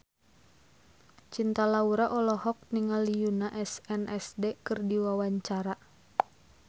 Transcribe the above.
Cinta Laura olohok ningali Yoona SNSD keur diwawancara